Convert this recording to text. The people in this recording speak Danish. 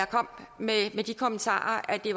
kom med de kommentarer at det